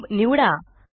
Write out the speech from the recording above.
cube निवडा